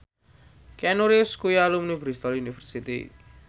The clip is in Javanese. Keanu Reeves kuwi alumni Bristol university